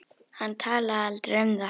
Hann talaði aldrei um það.